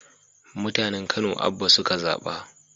Mutanen kano Abba suka zaba